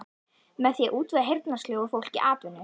Með því að útvega heyrnarsljóu fólki atvinnu.